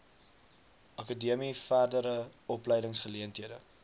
akademie verdere opleidingsgeleenthede